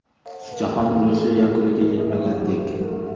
Jahon urushi yakuniga yetmagandek.